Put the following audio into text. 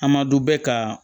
An ma du bɛ ka